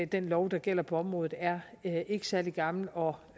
den lov der gælder på området er ikke særlig gammel og